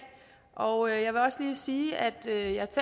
og jeg vil også lige sige at